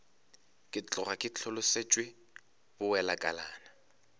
ke tloga ke hlolosetšwe bowelakalana